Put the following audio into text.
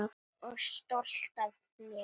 Og stolt af mér.